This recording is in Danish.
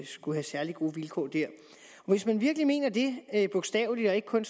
skulle have særlig gode vilkår der hvis man virkelig mener det bogstaveligt og ikke kun